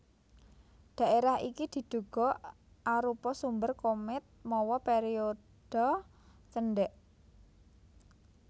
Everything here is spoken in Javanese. Dhaérah iki diduga arupa sumber komèt mawa périodha cendèk